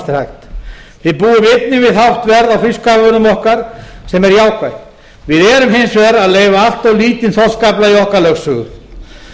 við búum einnig við hátt verð á fiskafurðum okkar sem er jákvætt við erum hins vegar að leyfa allt of lítinn þorskafla í okkar lögsögu